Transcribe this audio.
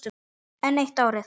Enn eitt árið.